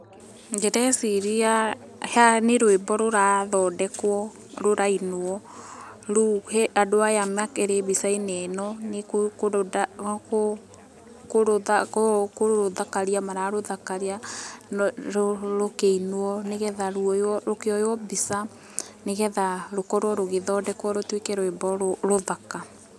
Ndĩreciria haha nĩ rũĩmbo rũrathondekwo, rũrainwo, rĩu andũ aya makĩrĩ mbica-inĩ ĩno nĩ kũrũthakaria mararũthakaria rũkĩinwo nĩgetha rũkĩoywo mbica, nĩgetha rũkorwo rũgĩthondekwo rũtuĩke rwĩmbo rũthaka.